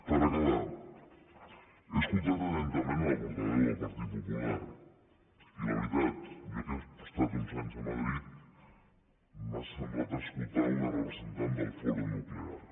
per acabar he escoltat atentament la portaveu del partit popular i la veritat jo que he estat uns anys a madrid m’ha semblat escoltar una representant del foro nuclear